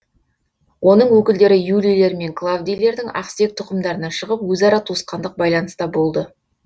оның өкілдері юлийлер мен клавдийлердің ақсүйек тұқымдарынан шығып өзара туысқандық байланыста болды